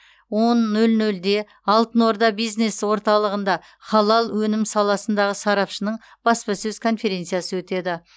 он нөл нөлде алтын орда бизнес орталығында халал өнім саласындағы сарапшының баспасөз конференциясы өтеді